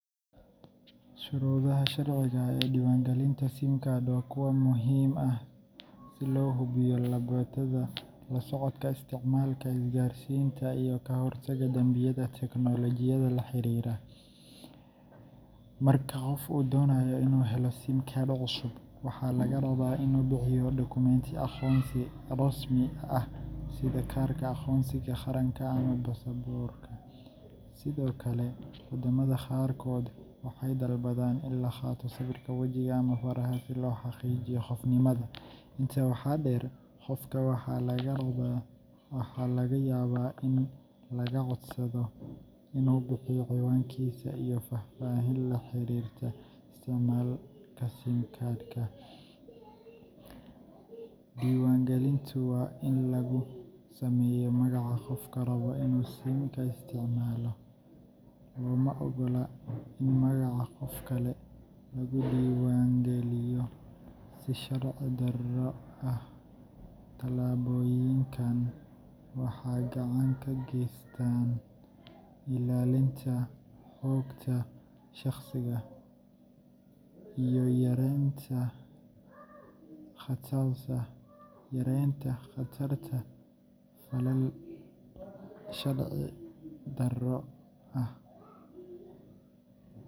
Shuruudaha sharciga ah ee diiwaangelinta SIM card waa kuwo muhiim ah si loo ilaaliyo ammaanka, sirta macaamiisha, iyo la socodka isticmaalka isgaarsiinta si sharci ah. Qaar ka mid ah shuruudahaas waxaa ka mid ah: Aqoonsi sax ah: Kaarka aqoonsiga qaxootiga Refugee ID, ma aqoonsi kale oo uu aqbalo shirkadda isgaarsiinta. naad joogto ahaan ku nooshahay waddanka: Haddii aad tahay ajnabi, waxaa laga yaabaa in lagu weydiiyo visa sax ah ama ruqsad shaqo si SIM card laguu diiwaangeliyo. Sawir biometric iyo faraha:Wadamo qaarkood, gaar ahaan Kenya, waxay sharcigu dhigayaan in la qaado farahaaga fingerprints ama sawirka wejiga si looga hortago isticmaalka been abuurka ah. Faahfaahin la xiriirta isticmaalka: Waxaa laga yaabaa inaad bixiso ciwaankaaga, shaqadaada, iyo sababta aad u rabto SIM-ka haddii loo baahdo. Diiwaangelin kaliya hal qof oo SIM ku leeyahay:Qof walba waa in uu si shaqsi ah u iska diiwa Shuruudaha sharciga ah ee diiwaangelinta SIM card waa kuwo muhiim ah si loo hubiyo badbaadada, la socodka isticmaalka isgaarsiinta, iyo ka hortagga dambiyada teknolojiyadda la xiriira. Marka qof uu doonayo inuu helo SIM card cusub, waxaa laga rabaa inuu bixiyo dukumeenti aqoonsi rasmi ah sida kaarka aqoonsiga qaranka ama baasaboorka. Sidoo kale, waddamo qaarkood waxay dalbadaan in la qaato sawirka wejiga ama faraha si loo xaqiijiyo qofnimada. Intaa waxaa dheer, qofka waxaa laga yaabaa in laga codsado inuu bixiyo ciwaankiisa iyo faahfaahin la xiriirta isticmaalka SIM-ka. Diiwaangelinta waa in lagu sameeyaa magaca qofka raba inuu SIM-ka isticmaalo, looma oggola in magaca qof kale lagu diiwaangeliyo si sharci darro ah. Tallaabooyinkan waxay gacan ka geystaan ilaalinta xogta shaqsiga iyo yareynta khatarta falal sharci-darro ah.